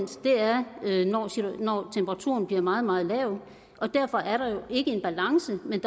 når temperaturen bliver meget meget lav derfor er der ikke en balance men